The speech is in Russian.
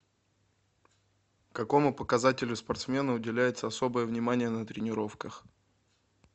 какому показателю спортсмена уделяется особое внимание на тренировках